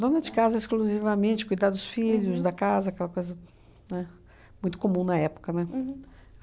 Dona de casa exclusivamente, cuidar dos filhos, da casa, aquela coisa, né, muito comum na época, né?